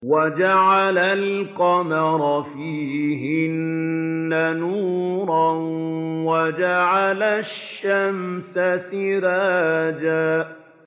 وَجَعَلَ الْقَمَرَ فِيهِنَّ نُورًا وَجَعَلَ الشَّمْسَ سِرَاجًا